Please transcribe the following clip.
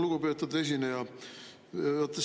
Lugupeetud esineja!